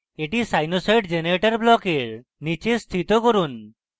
এটিকে sinusoid generator ব্লকের নীচে স্থিত করুন